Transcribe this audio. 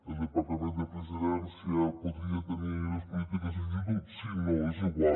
el departa·ment de la presidència podria tenir les polítiques de joventut sí i no és igual